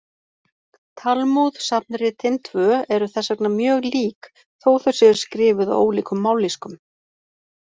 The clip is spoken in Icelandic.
Talmúð-safnritin tvö eru þess vegna mjög lík, þó þau séu skrifuð á ólíkum mállýskum.